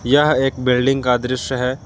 यह एक बिल्डिंग का दृश्य है।